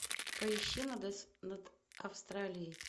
поищи над австралией